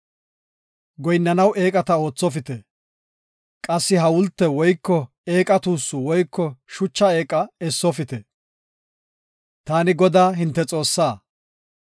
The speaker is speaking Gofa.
Goyinnanaw eeqata oothopite; qassi hawulte woyko eeqa tuussu woyko shucha eeqa essofite. Taani Godaa, hinte Xoossaa.